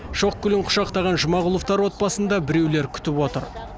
шоқ гүлін құшақтаған жұмағұловтар отбасын да біреулер күтіп отыр